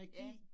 Ja